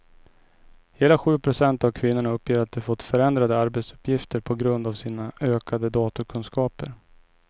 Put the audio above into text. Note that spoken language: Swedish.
Hela sju procent av kvinnorna uppger att de fått förändrade arbetsuppgifter på grund av sina ökade datorkunskaper.